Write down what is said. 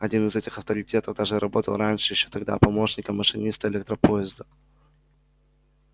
один из этих авторитетов даже работал раньше ещё тогда помощником машиниста электропоезда